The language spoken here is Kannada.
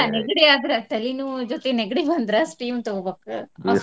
ನೆಗಡಿ ಆದ್ರ ತಲಿನೋವ್ ಜೊತಿ ನೆಗಡಿ ಬಂದ್ರ steam ತಗೋಬೇಕು.